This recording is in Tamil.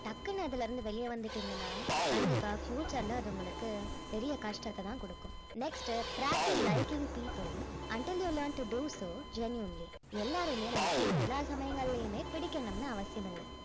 டக்குனு அதுல இருந்து வெளிய வந்துட்டீங்கன்னா கண்டிப்பா future ல அது உங்களுக்கு பெரிய கஷ்டத்தை தான் குடுக்கும் next practice liking people untill you learn to do so genuinely எல்லாரையுமே நமக்கு எல்லா சமயங்களையுமே பிடிக்கணும்னு அவசியம் இல்ல